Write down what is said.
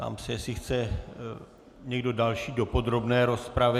Ptám se, jestli chce někdo další do podrobné rozpravy.